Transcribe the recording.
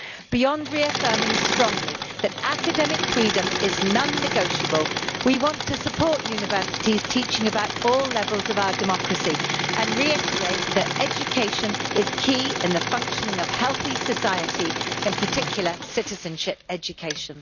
Beyond reaffirming strongly that academic freedom is non negotiable, we want to support universities teaching about all levels of our democracy, and reiterate that education is key in the functioning of a healthy society, in particular citizenship education.